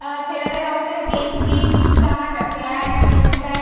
আ ছেলেদের হচ্ছে গেঞ্জি টি-শার্ট প্যান্ট জিন্স প্যান্ট ।